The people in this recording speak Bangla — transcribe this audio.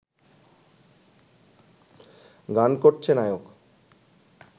গান করছে নায়ক